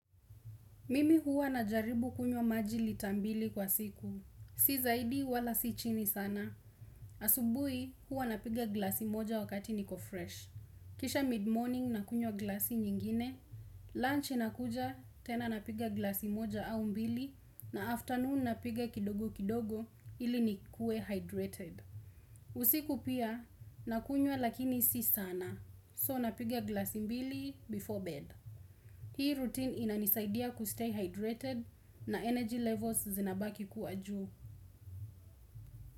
Mimi huwa najaribu kunywa maji lita mbili kwa siku. Si zaidi wala si chini sana. Asubui huwa napiga glasi moja wakati niko fresh. Kisha mid morning nakunywa glasi nyingine. Lunch nakuja tena napiga glasi moja au mbili. Na afternoon napiga kidogo kidogo ili nikue hydrated. Usiku pia nakunywa lakini si sana. So napiga glasi mbili before bed. Hii routine inanisaidia kustay hydrated. Na energy levels zinabaki kuwa juu.